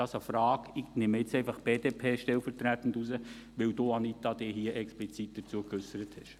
Das ist eine Frage, und ich greife jetzt einfach die BDP stellvertretend heraus, weil Sie, Anita Luginbühl, sich explizit dazu geäussert haben.